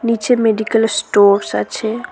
নীচে medical stores আছে।